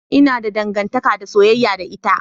Ina da dangantaka ta soyayya da ita.